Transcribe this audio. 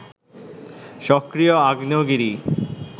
সক্রিয় আগ্নেয়গিরি